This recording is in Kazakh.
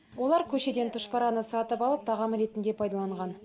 олар көшеден тұшпараны сатып алып тағам ретінде пайдаланған